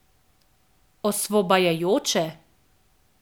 Osvobajajoče?